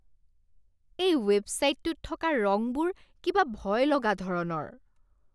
এই ৱেবছাইটটোত থকা ৰঙবোৰ কিবা ভয়লগা ধৰণৰ।